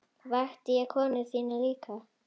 Vakti ég konu þína líka?